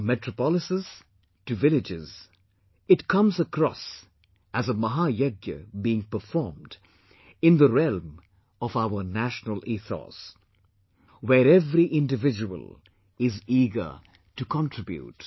From metropolises to villages, it comes across as a 'Mahayagya' being performed in the realm of our national ethos where every individual is eager to contribute